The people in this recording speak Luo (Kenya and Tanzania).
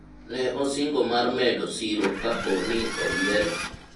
ne osingo mar medo siro kapo ni oyiere